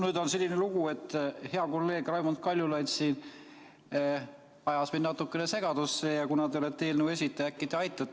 Nüüd on selline lugu, et hea kolleeg Raimond Kaljulaid siin ajas mind natukene segadusse ja kuna te olete eelnõu esitaja, siis äkki te aitate välja.